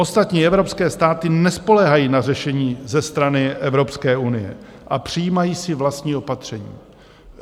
Ostatní evropské státy nespoléhají na řešení ze strany Evropské unie a přijímají si vlastní opatření.